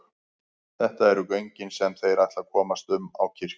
Þetta eru göngin sem þeir ætla að komast um á kirkju.